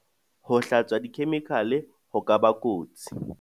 Ho hlatswa dikhemikale ho ka ba kotsi.